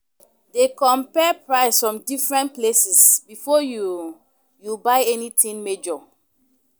Dey compare price from different places before you you buy anything major